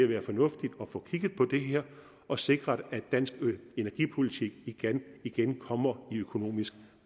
være fornuftigt at få kigget på det her og sikret at dansk energipolitik igen igen kommer i økonomisk